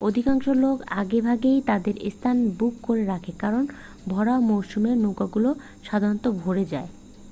অধিকাংশ লোক আগেভাগেই তাদের স্থান বুক করে রাখে কারণ ভরা মরশুমে নৌকাগুলো সাধারণত ভরে যায়।